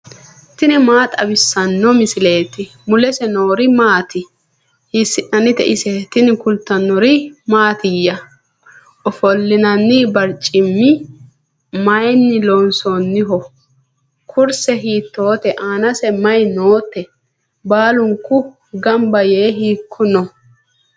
tini maa xawissanno misileeti ? mulese noori maati ? hiissinannite ise ? tini kultannori mattiya? Ofolinnanni bariccimmi mayiinni loosamminno? kurise hiittote? aanase mayi nootte? baallunku ganba yee hiikko noo?